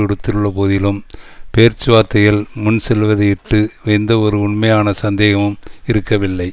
விடுத்துள்ளபோதிலும் பேச்சுவார்த்தைகள் முன்செல்வதையிட்டு எந்தவொரு உண்மையான சந்தேகமும் இருக்கவில்லை